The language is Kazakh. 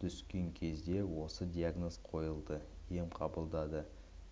түскен кезде осы диагноз қойылды ем қабылдады